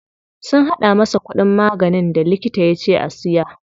Sun haɗa masa kuɗin maganin da likita yace ya siya.